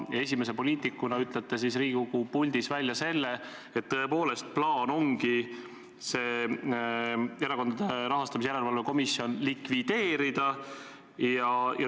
Esimese poliitikuna ütlete Riigikogu puldis välja selle, et tõepoolest ongi plaan Erakondade Rahastamise Järelevalve Komisjon likvideerida.